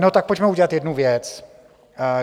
No tak pojďme udělat jednu věc.